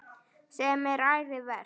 Sem er ærið verk.